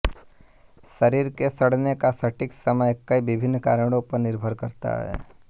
शरीर के सड़ने का सटीक समय कई विभिन्न कारणों पर निर्भर करता है